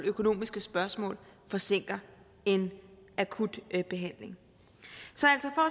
økonomiske spørgsmål forsinker en akut behandling